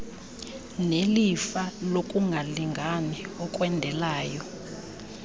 nelifa lokungalingani okwendeleyo